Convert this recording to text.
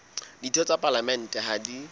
ditho tsa palamente ha di